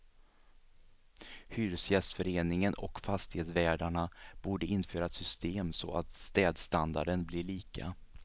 Hyresgästföreningen och fastighetsvärdarna borde införa ett system så att städstandarden blir lika.